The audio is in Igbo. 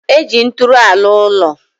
Eji nturu alu ulo